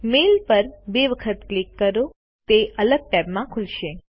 mail પર બે વખત ક્લિક કરો તે અલગ ટેબમાં ખુલશે